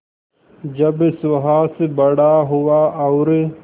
जब सुहास बड़ा हुआ और